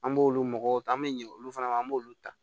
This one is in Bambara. An b'olu mɔgɔw ta an bɛ ɲɛ olu fana na an b'olu ta